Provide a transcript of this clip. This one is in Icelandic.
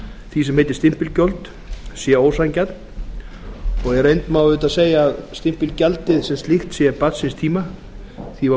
því sem heitir stimpilgjöld sé ósanngjarn í reynd má auðvitað segja að stimpilgjaldið sem slíkt sé barn síns tíma því var